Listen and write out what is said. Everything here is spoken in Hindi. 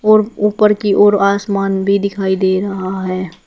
और ऊपर की ओर आसमान भी दिखाई दे रहा है।